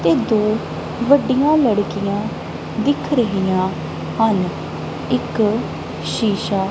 ਤੇ ਦੋ ਵੱਡੀਆਂ ਲੜਕੀਆਂ ਦਿੱਖ ਰਹੀਆਂ ਹਨ ਇੱਕ ਸ਼ੀਸ਼ਾ--